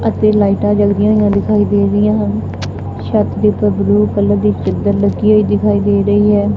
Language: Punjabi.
ਅਤੇ ਲਾਈਟਾ ਜਗਦੀਆਂ ਜੀਆ ਦਿਖਾਈ ਦੇ ਰਹੀਆਂ ਹਨ ਛੱਤ ਦੇ ਉਪਰ ਬਲੂ ਕਲਰ ਦੀ ਚਦਰ ਲਟਕੀ ਹੋਈਂ ਦਿਖਾਈ ਦੇ ਰਹੀ ਹੈ।